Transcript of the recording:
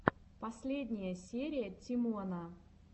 последняя серия тимона